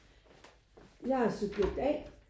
Jeg er subjekt A